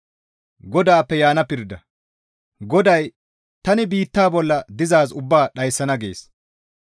GODAY, «Tani biitta bolla dizaaz ubbaa dhayssana» gees.